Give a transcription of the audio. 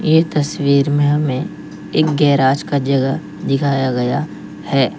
ये तस्वीर में हमें एक गैरेज का जगह दिखाया गया है।